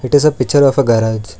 it is a picture of a garage